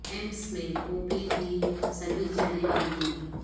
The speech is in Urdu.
ایمس میں او پی ڈی سروس جاری رہے گی